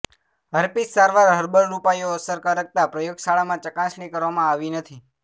herpes સારવાર herbal ઉપાયો અસરકારકતા પ્રયોગશાળામાં ચકાસણી કરવામાં આવી નથી